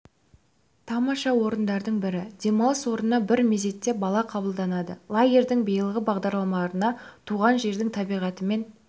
тамаша орындардың бірі демалыс орнына бір мезетте бала қабылданады лагердің биылғы бағдарламаларына туған жердің табиғатымен